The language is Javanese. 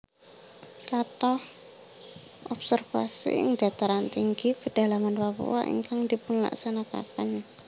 Kathah observasi ing dataran tinggi pedalaman Papua ingkang dipunlaksanakaken